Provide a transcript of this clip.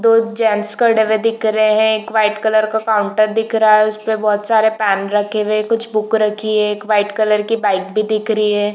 दो जेन्ट्स खड़े हुए दिख रहे है। एक व्हाइट कलर का काउन्टर दिख रहा है उस पे बोहोत सारे पेन रखे हुए है। कुछ बुक रखी है। एक व्हाइट कलर की बाइक भी दिख रही है।